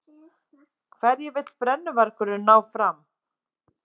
Hverju vill brennuvargurinn ná fram?